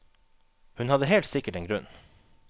Hun hadde helt sikkert en grunn.